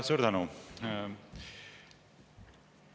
Suur tänu!